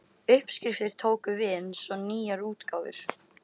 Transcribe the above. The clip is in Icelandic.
Uppskriftir tóku við eins og nýjar útgáfur.